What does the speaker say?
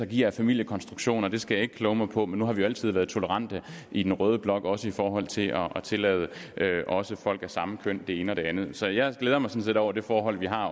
giver af familiekonstruktioner det skal jeg ikke kloge mig på men nu har vi jo altid været tolerante i den røde blok også i forhold til at tillade folk af samme køn det ene og det andet så jeg glæder mig sådan set over det forhold at vi har